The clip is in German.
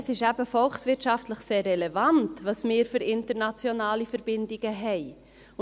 «Es ist volkswirtschaftlich eben sehr relevant, welche internationalen Verbindungen wir haben.»